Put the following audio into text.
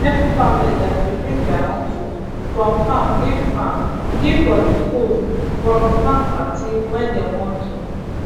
every family dem dey bring their own food from farm give farm give for the food from farm party wey dem wan do